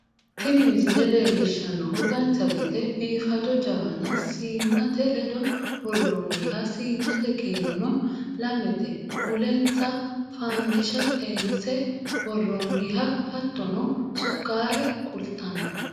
tini misile leellishshannohu dancha gede biifado jawana siinnate ledo worroonniha siinnate kiirono lamete mulensa fandisha xeense worroonniha hattono sukkaare kulttanno